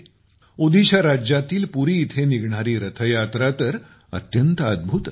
ओदिशा राज्यातील पुरी येथे होणारी रथयात्रा तर अत्यंत अद्भुत असते